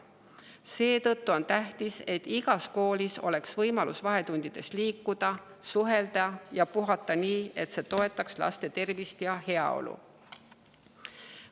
Seetõttu on tähtis, et igas koolis oleks võimalus vahetundides liikuda, suhelda ja puhata nii, et see toetaks laste tervist ja heaolu.